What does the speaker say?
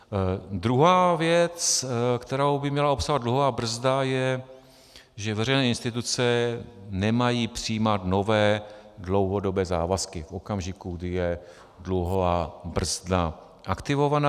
Druhá věc, kterou by měla obsahovat dluhová brzda, je, že veřejné instituce nemají přijímat nové dlouhodobé závazky v okamžiku, kdy je dluhová brzda aktivovaná.